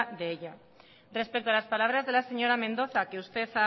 de ello respecto a las palabras de la señora mendoza que usted